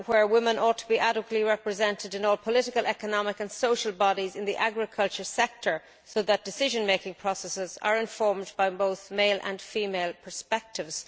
Women ought to be adequately represented in all political, economic and social bodies in the agriculture sector so that decision making processes are informed by both male and female perspectives.